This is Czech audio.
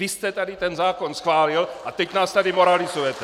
Vy jste tady ten zákon schválil a teď nás tady moralizujete!